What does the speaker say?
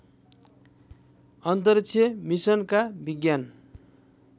अन्तरिक्ष मिसनका विज्ञान